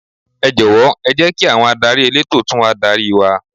Ẹ jọ̀wọ́ ẹ jẹ́ kí àwọn adarí elétò tún wá darí wa.